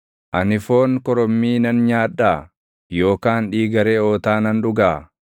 Ani foon korommii nan nyaadhaa? Yookaan dhiiga reʼootaa nan dhugaa?